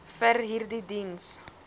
vir hierdie diens